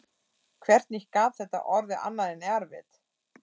hvernig gat þetta orðið annað en erfitt?